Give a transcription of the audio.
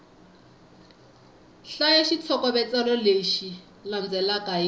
hlaya xitlhokovetselo lexi landzelaka hi